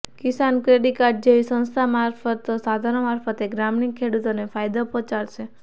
કિસાન credit card જેવી સંસ્થાગત સાધનો મારફતે ગ્રામિણ ખેડૂતોને ફાયદો પહોંચાડાશે